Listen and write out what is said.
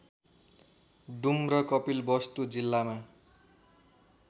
डुम्र कपिलवस्तु जिल्लामा